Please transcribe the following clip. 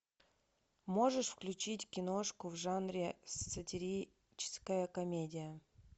можешь включить киношку в жанре сатирическая комедия